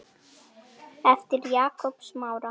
eftir Jakob Smára.